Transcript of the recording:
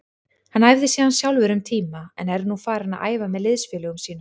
Hann æfði síðan sjálfur um tíma en er nú farinn að æfa með liðsfélögum sínum.